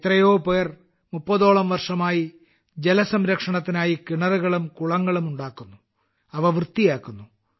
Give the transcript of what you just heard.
എത്രയോപേർ മുപ്പതോളം വർഷമായി ജലസംരക്ഷണത്തിനായി കിണറുകളും കുളങ്ങളും ഉണ്ടാക്കുന്നു അവ വൃത്തിയാക്കുന്നു